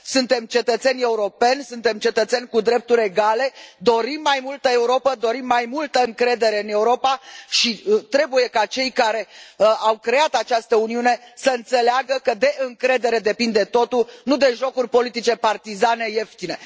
Suntem cetățeni europeni, suntem cetățeni cu drepturi egale, dorim mai multă Europă, dorim mai multă încredere în Europa și trebuie ca cei care au creat această Uniune să înțeleagă că de încredere depinde totul, nu de jocuri politice partizane ieftine.